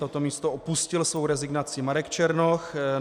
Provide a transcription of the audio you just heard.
Toto místo opustil svou rezignací Marek Černoch.